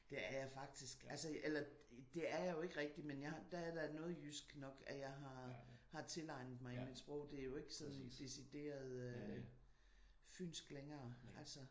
Det er jeg faktisk. Altså eller det er jeg jo ikke rigtigt men jeg der er der noget jysk nok jeg har tilegnet mig i mit sprog. Det er jo ikke sådan decideret fynsk længere altså